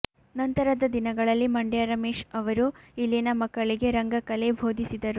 ನಂತರದ ದಿನಗಳಲ್ಲಿ ಮಂಡ್ಯ ರಮೇಶ್ ಅವರು ಇಲ್ಲಿನ ಮಕ್ಕಳಿಗೆ ರಂಗಕಲೆ ಬೋಧಿಸಿದರು